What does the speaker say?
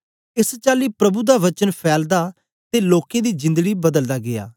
एस चाली प्रभु दा वचन फैलदा ते लोकें दी जिंदड़ी बदलदा गीया